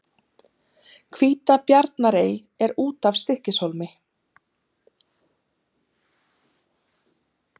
Hvítabjarnarey er út af Stykkishólmi.